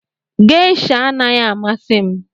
Geisha anaghị amasị m